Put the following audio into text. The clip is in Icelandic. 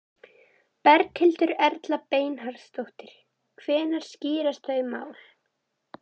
Berghildur Erla Bernharðsdóttir: Hvenær skýrast þau mál?